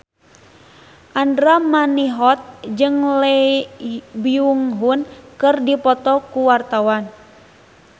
Andra Manihot jeung Lee Byung Hun keur dipoto ku wartawan